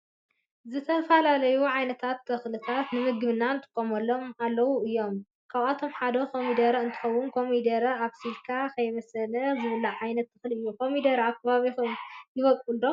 ዝተፈላለዩ ዓይነት ተክልታት ንምግብነት ንጥቀመሎም አለዎ እዩም። ካብአቶም ሓደ ኮሞደረ እንትኮን ኮሚደረ አብሲሊካ ከየብሰልካ ዝብላዕ ዓይነት ተክሊ እዩ። ኮሚደረ አብ ከባቢኩም ይቦቅል ዶ?